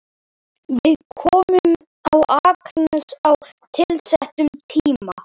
Við komum á Akranes á tilsettum tíma.